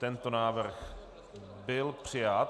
Tento návrh byl přijat.